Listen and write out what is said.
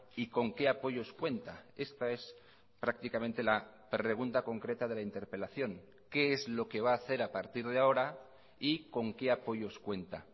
y con qué apoyos cuenta esta es prácticamente la pregunta concreta de la interpelación qué es lo que va a hacer a partir de ahora y con qué apoyos cuenta